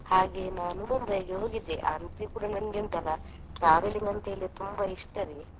ಹಾಗೆ ನಾನು Mumbai ಇಗೆ ಹೋಗಿದ್ದೆ. ಆದ್ರೆ ಕೂಡ ನಂಗೆ ಉಂಟಲ್ಲ travelling ಅಂತೇಳಿ ತುಂಬಾ ಇಷ್ಟವೇ.